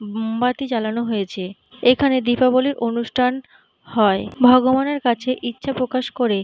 মোমবাতি জ্বালানো হয়েছে এইখানে দীপাবলির অনুষ্ঠান হয়। ভগবানের কাছে ইচ্ছা প্রকাশ করে --